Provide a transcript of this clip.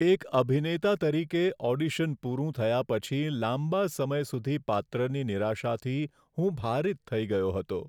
એક અભિનેતા તરીકે, ઓડિશન પૂરું થયા પછી લાંબા સમય સુધી પાત્રની નિરાશાથી હું ભારિત થઈ ગયો હતો.